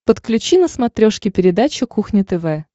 подключи на смотрешке передачу кухня тв